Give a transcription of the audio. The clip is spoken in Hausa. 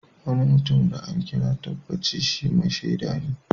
Wani mutum da an kira yayi tabbaci shi " Mai shaida"ne.